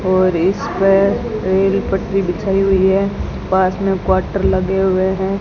और इसपे रेल पटरी बिछाई हुई है पास में क्वार्टर लगे हुए हैं।